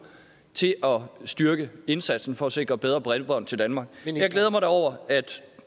til at styrke indsatsen for at sikre bedre bredbånd til danmark jeg glæder mig da over at